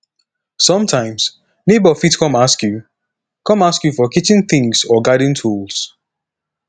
sometimes neighbour fit come ask you come ask you for kitchen things or garden tools